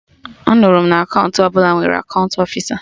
Anụrụ m na akaụntụ ọbụla nwere akaụntụ ofisa